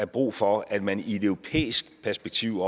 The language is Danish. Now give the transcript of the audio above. brug for at man i et europæisk perspektiv